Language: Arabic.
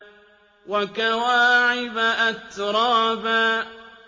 وَكَوَاعِبَ أَتْرَابًا